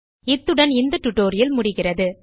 இத்துடன் இந்த டியூட்டோரியல் முடிகிறது